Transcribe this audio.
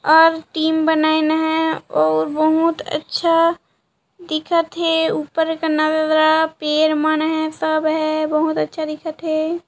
और टीम बनइन हे और बहुत अच्छा दिखत हे ऊपर पर मन है सब है बहुत अच्छा दिखथ हैं।